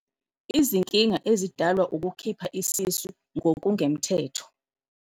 Izinkinga ezidalwa ukukhipha isisu ngokungemthetho.